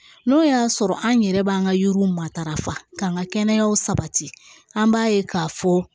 N'o y'a sɔrɔ an yɛrɛ b'an ka yiriw matarafa k'an ka kɛnɛya sabati an b'a ye k'a fɔ